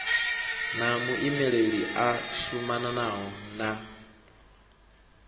na muimeli a shumanaho na